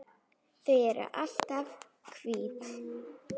Þau eru alltaf hvít.